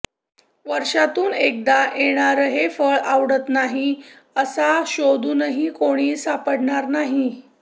वर्षातून एकदा येणारं हे फळं आवडत नाही असा शोधूनही कोणी सापडणार नाही